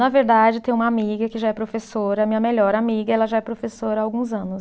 Na verdade, tem uma amiga que já é professora, minha melhor amiga, ela já é professora há alguns anos.